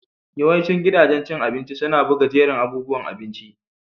Yawancin gidajen cin abinci suna buga jerin abubuwan abinci.